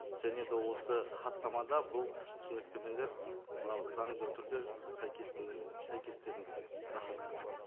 және де осы хаттамада бұл түсініктемелер мынау заңды түрде рахмет